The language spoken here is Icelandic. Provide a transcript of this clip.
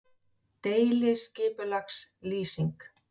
Ég frétti hjá Smára að þið hefðuð náð Bóasi- sagði